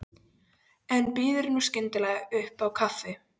En býður nú skyndilega upp á kaffi!